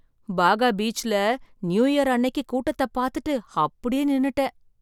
பாகா பீச்ல new year அன்னைக்கு கூட்டத்தை பார்த்துட்டு அப்படியே நின்னுட்டேன்!